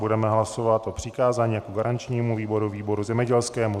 Budeme hlasovat o přikázání jako garančnímu výboru výboru zemědělskému.